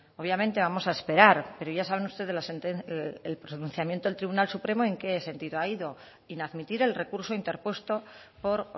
obviamente vamos a esperar pero ya saben ustedes el pronunciamiento del tribunal supremo en qué sentido ha ido inadmitir el recurso interpuesto por